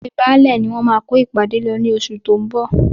Ilée Baálẹ̀ ni wọ́n máa kó ìpàdé lọ ní oṣù tí ó ń bọ̀.